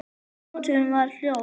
Og nóttin var hljóð.